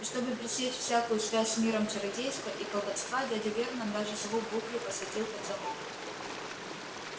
и чтобы пресечь всякую связь с миром чародейства и колдовства дядя вернон даже сову буклю посадил под замок